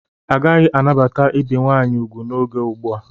Agaghị anabata ibe nwaanyị ugwu n'oge ugbu a.